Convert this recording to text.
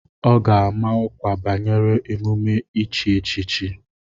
Ọ ga-ama ọkwa banyere emume ichi echichi.